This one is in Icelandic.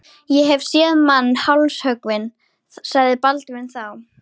Ég hef séð mann hálshöggvinn, sagði Baldvin þá.